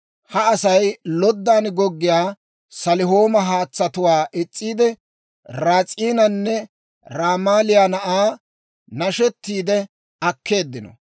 «Ha Asay loddan goggiyaa Salihooma haatsatuwaa is's'iide, Ras'iinanne Ramaaliyaa na'aa nashettiide akkeeddino.